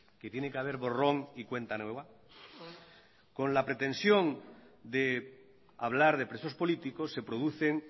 que tiene que haber borrón y cuenta nueva con la pretensión de hablar de presos políticos se producen